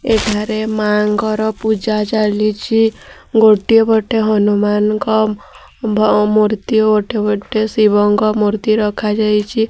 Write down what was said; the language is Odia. ଏଠାରେ ମାଙ୍କର ପୂଜା ଚାଲିଛି। ଗୋଟେ ଗୋଟେ ହନୁମାନ ଙ୍କ ମୂର୍ତ୍ତି ଓ ଗୋଟେ ଗୋଟେ ଶିବ ଙ୍କ ମୂର୍ତ୍ତି ରଖାଯାଇଛି।